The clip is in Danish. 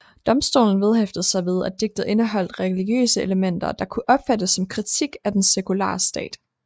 Domstolen vedhæftede sig ved at digtet indeholdte religiøse elementer der kunne opfattes som kritik af den sekulære stat